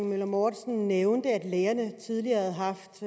møller mortensen nævnte at lægerne tidligere havde haft